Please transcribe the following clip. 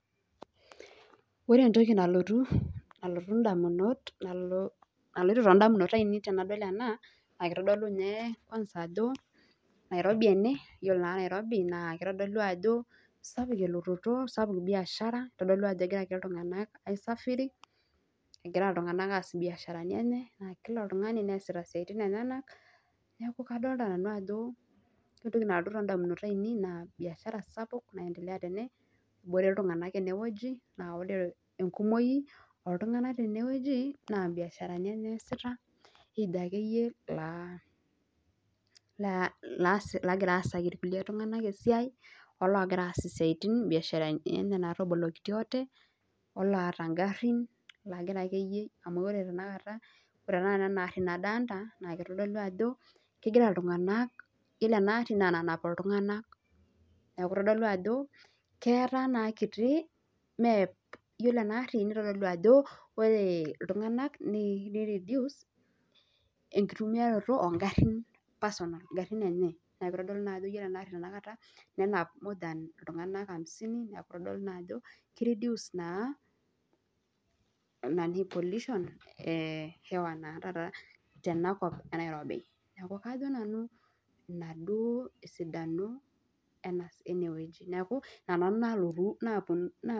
Ore entoki nalotu indamunot ainei naa Nairobi ene naa kitodolu ajo sapuk elororo obiashera egira iltunganak aas biashara naa kila oltungani neasita inkiasin enyenak naa kadolita ajo ketii iltunganak kumok ene wueji naa ore enkumoi oltunganak tenewueji naa imbiasharani enye easita naa ketii loogira aasaki kulie tunganak esiai ooloosita imbuasharani natobolokitio ate oloota ingarhin naa keutu ajo kena ena gharhi iltunganak naa keeku kutu iltunganak oitumia ingharhin enye amu kenap iltunganak kumok ena arhi iltunganak 50 na keitaa kiti enkinyalata enkiyanget tenaalo e Nairobi